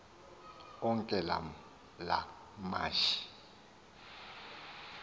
onke la mashi